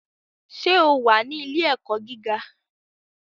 Ṣé o wà ní Ilé-ẹ̀kọ́ gíga?